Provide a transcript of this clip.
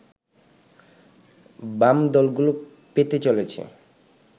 বাম দলগুলো পেতে চলেছে